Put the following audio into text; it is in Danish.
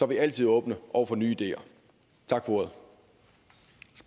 vi altid åbne over for nye ideer tak